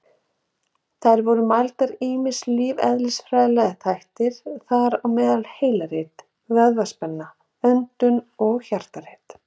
Þá eru mældir ýmsir lífeðlisfræðilegir þættir, þar á meðal heilarit, vöðvaspenna, öndun og hjartarit.